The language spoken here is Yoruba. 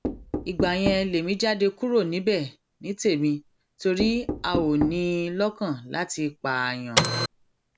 ìgbà yẹn lèmi jáde kúrò níbẹ ní tèmi torí a ò ní in lọkàn láti pààyàn